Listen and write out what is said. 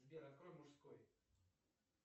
сбер открой мужской